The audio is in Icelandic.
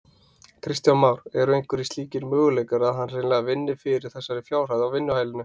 Kristján Már: Eru einhverjir slíkir möguleikar að hann hreinlega vinni fyrir þessari fjárhæð á vinnuhælinu?